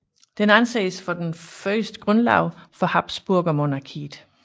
Den anses for den første grundlov for habsburgermonarkiet